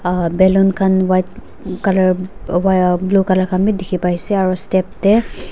aa balloon khan white colour blue colour khan bhi dekhi pai se aru step te--